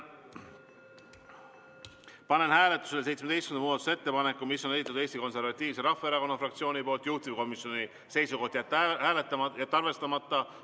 Panen hääletusele 17. muudatusettepaneku, mille on esitanud Eesti Konservatiivse Rahvaerakonna fraktsioon, juhtivkomisjoni seisukoht on jätta see arvestamata.